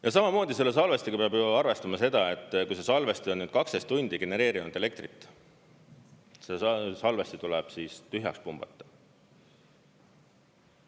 Ja samamoodi selle salvestiga peab arvestama seda, et kui salvestada need 12 tundi genereerinud elektrit, siis salvesti tuleb tühjaks pumbata.